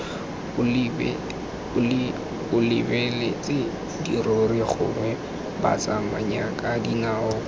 o lebeletse dirori gongwe batsamayakadinao